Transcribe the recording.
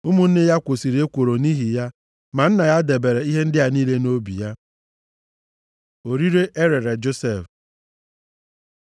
Ụmụnne ya kwosiri ya ekworo nʼihi ya, ma nna ya debere ihe ndị a niile nʼobi ya. Orire e rere Josef